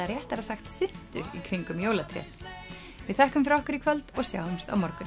réttara sagt syntu í kringum jólatréð við þökkum fyrir okkur í kvöld og sjáumst á morgun